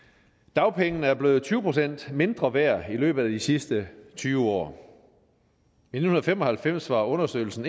dagpengene er blevet tyve procent mindre værd i løbet af de sidste tyve år i nitten fem og halvfems var understøttelsen